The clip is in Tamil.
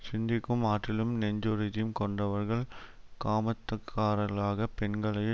சிந்திக்கும் ஆற்றலும் நெஞ்சுறுதியும் கொண்டவர்கள் காமத்தகாரர்களாகப் பெண்களையே